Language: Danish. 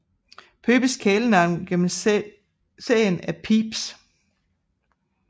Phoebes kælenavn gennem serien er Pheebs